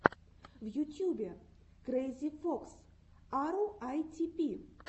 в ютьюбе крэйзи фокс аруайтипи